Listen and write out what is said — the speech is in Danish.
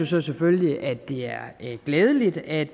så selvfølgelig at det er glædeligt at